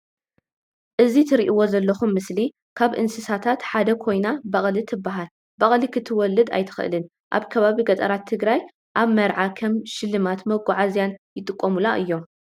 እዚ ትርእዎ ዘለኩም ምስሊ ካብ እንስሳታት ሓንቲ ኮይና በቅሊ ትባሃል። በቅሊ ክትወልድ ኣይትክእልን ኣብ ከባቢ ገጠራት ትግራይ ኣብ መርዓ ከም ሽልማትን መጓዓዝያን ይጥቀሙላ እዩም።